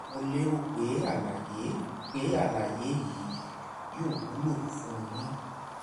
mo lérò pé àlàyé pé àlàyé yìí yóò wúlò fún un yín